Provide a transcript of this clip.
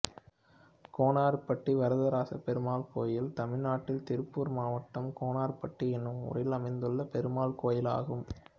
கோனார்பட்டி வரதராசப் பெருமாள் கோயில் தமிழ்நாட்டில் திருப்பூர் மாவட்டம் கோனார்பட்டி என்னும் ஊரில் அமைந்துள்ள பெருமாள் கோயிலாகும்